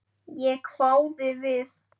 Ég hváði við.